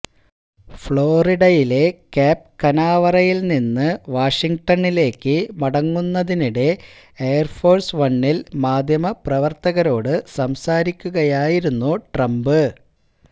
ഫ്ളോറിഡയിലെ Cape കനാവറയില് നിന്ന് വാഷിങ്ടണിലേക്ക് മടങ്ങുന്നതിനിടെ എയര്ഫോഴ്സ് വണ്ണില് മാധ്യമപ്രവര്ത്തകരോട് സംസാരിക്കുകയായിരുന്നു ട്രംപ്